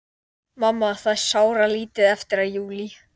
Mamma, það er sáralítið eftir af júlí.